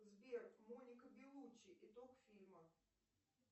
сбер моника белуччи итог фильма